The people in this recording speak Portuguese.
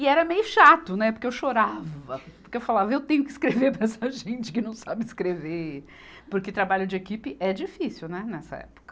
E era meio chato, né, porque eu chorava, porque eu falava, eu tenho que escrever para essa gente que não sabe escrever, porque trabalho de equipe é difícil, né nessa época.